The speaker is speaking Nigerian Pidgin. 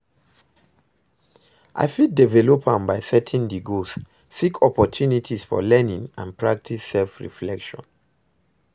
I fit develop am by setting di goals, seek opportunities for learning and practice self-reflection.